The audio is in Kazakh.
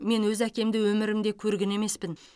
мен өз әкемді өмірімде көрген емеспін